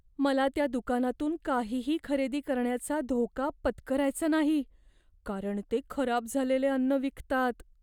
मला त्या दुकानातून काहीही खरेदी करण्याचा धोका पत्करायचा नाही कारण ते खराब झालेले अन्न विकतात.